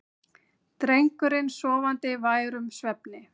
Drengurinn sofandi værum svefni.